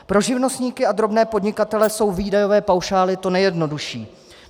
Pro živnostníky a drobné podnikatele jsou výdajové paušály to nejjednodušší.